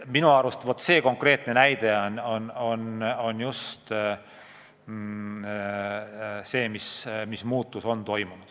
Minu meelest see on konkreetne näide selle kohta, mis muutus on toimunud.